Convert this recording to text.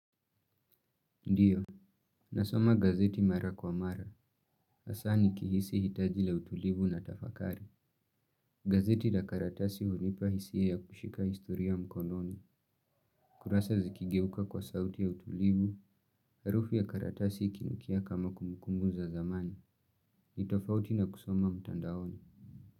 Ndiyo, nasoma gazeti mara kwa mara. Asa nikihisi hitaji la utulivu na tafakari. Gazeti la karatasi hunipa hisia ya kushika istoria mkononi. Kurasa zikigeuka kwa sauti ya utulivu, harufi ya karatasi ikinukia kama kumukumu za zamani. Nitofauti na kusoma mtandaoni.